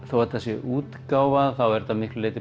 þótt þetta sé útgáfa er þetta miklu